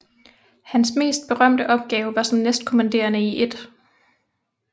Hans mest berømte opgave var som næstkommanderende i 1